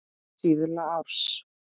Síðla árs.